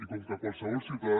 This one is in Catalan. i com que qualsevol ciutadà